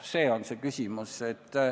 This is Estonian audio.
See on see küsimus.